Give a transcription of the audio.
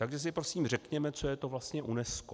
Takže si prosím řekněte, co je to vlastně UNESCO.